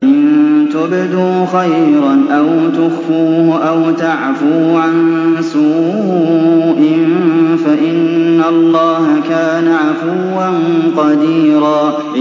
إِن تُبْدُوا خَيْرًا أَوْ تُخْفُوهُ أَوْ تَعْفُوا عَن سُوءٍ فَإِنَّ اللَّهَ كَانَ عَفُوًّا قَدِيرًا